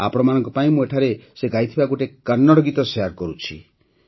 ଆପଣମାନଙ୍କ ପାଇଁ ମୁଁ ଏଠାରେ ସେ ଗାଇଥିବା ଗୋଟିଏ କନ୍ନଡ଼ ଗୀତ ଶେୟାର କରୁଛି